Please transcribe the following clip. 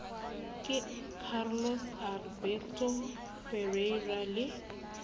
ke carlos alberto parreira le